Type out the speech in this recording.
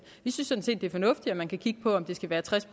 vi synes sådan set det er fornuftigt at man kan kigge på om det skal være tres